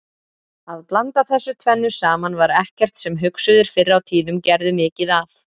Að blanda þessu tvennu saman var ekkert sem hugsuðir fyrr á tíðum gerðu mikið af.